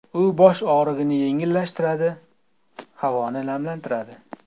U bosh og‘rig‘ini yengillashtiradi, havoni namlantiradi.